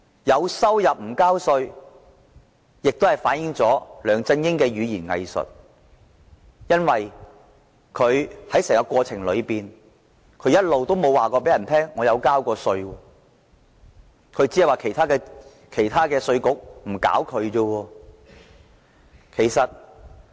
有收入但不繳稅，反映了梁振英的語言"偽術"，他在整個過程中一直都沒有說他曾就這項收入繳稅，只說其他國家的稅局沒有"搞"他。